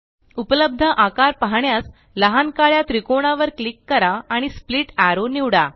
उपलब्ध आकार पाहण्यास लहान काळ्या त्रिकोणावर क्लिक करा आणि स्प्लिट एरो निवडा